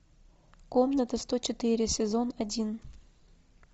комната сто четыре сезон один